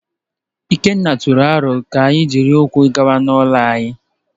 Ikenna tụrụ aro ka anyị jiri ụkwụ gawa n’ụlọ ya.